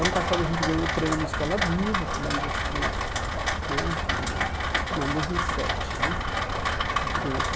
Ano passado a gente ganhou o prêmio Escola Viva, com um dos dos né que não em dois mil e sete né a gente ganhou o